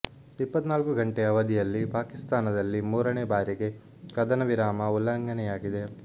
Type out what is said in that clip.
ಇಪ್ಪತ್ನಾಲ್ಕು ಗಂಟೆ ಅವಧಿಯಲ್ಲಿ ಪಾಕಿಸ್ತಾನದಲ್ಲಿ ಮೂರನೇ ಬಾರಿಗೆ ಕದನ ವಿರಾಮ ಉಲ್ಲಂಘನೆಯಾಗಿದೆ